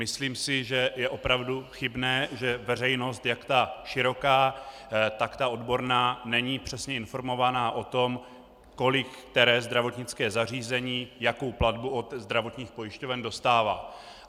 Myslím si, že je opravdu chybné, že veřejnost, jak ta široká, tak ta odborná, není přesně informována o tom, kolik které zdravotnické zařízení, jakou platbu od zdravotních pojišťoven dostává.